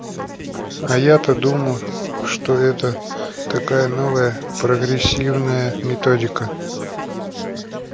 а я-то думал что это такая новая прогрессивная методика